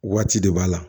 Waati de b'a la